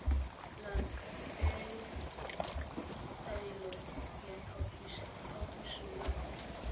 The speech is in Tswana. latele taelo ya phaposo ya